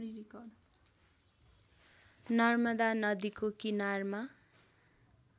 नर्मदा नदीको किनारमा